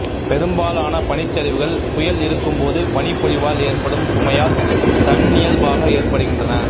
பெரும்பாலான பனிச்சரிவுகள் புயல் இருக்கும்போது பனிப்பொழிவால் ஏற்படும் சுமையால் தன்னியல்பாக ஏற்படுகின்றன